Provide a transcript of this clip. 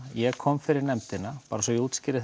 ég kom fyrir nefndina svo ég útskýri